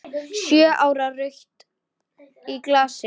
Sjö ára rautt í glasi.